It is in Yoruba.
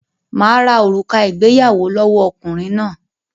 Màá ra òrùka ìgbéyàwó lọ́wọ́ ọkùnrin náà